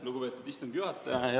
Lugupeetud istungi juhataja!